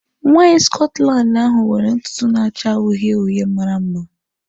Nwanyị Scotland ahụ nwere ntutu na-acha uhie uhie mara mma.